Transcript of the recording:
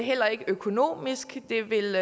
heller ikke økonomisk det vil